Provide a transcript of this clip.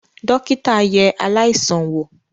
Dọ́kítá yẹ aláìsàn wò.